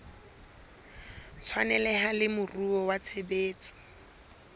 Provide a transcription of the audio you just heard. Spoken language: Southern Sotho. tshwaneleha le moruo wa tshebetso